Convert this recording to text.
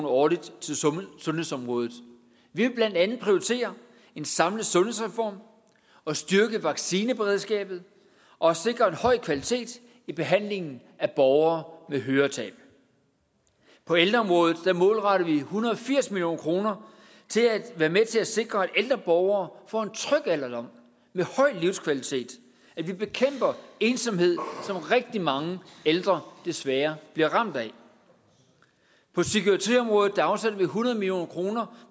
årligt til sundhedsområdet vi vil blandt andet prioritere en samlet sundhedsreform og styrke vaccineberedskabet og sikre en høj kvalitet i behandlingen af borgere med høretab på ældreområdet målretter vi en hundrede og firs million kroner til at være med til at sikre at ældre borgere får en tryg alderdom med høj livskvalitet at vi bekæmper ensomhed som rigtig mange ældre desværre bliver ramt af på psykiatriområdet afsætter vi hundrede million kroner